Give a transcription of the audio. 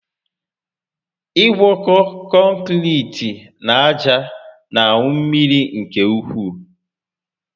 Igwọkọ kọnkiriti na aja na aṅu mmiri nke ukwu